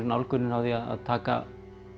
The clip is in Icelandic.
nálgunin á því að taka